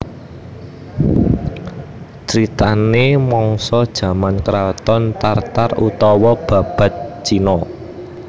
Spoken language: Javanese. Critanè mangsa jaman kraton Tar Tar utawa Babad Cina